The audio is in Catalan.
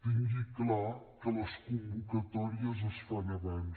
tingui clar que les convocatòries es fan abans